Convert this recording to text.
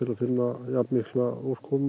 að finna jafnmikla úrkomu